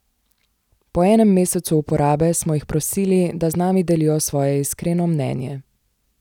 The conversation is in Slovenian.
Po enem mesecu uporabe smo jih prosili, da z nami delijo svoje iskreno mnenje.